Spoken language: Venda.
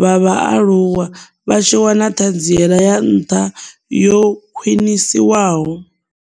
vha vhaaluwa vha tshi wana Ṱhanziela ya Nṱha yo Khwiṋiswaho.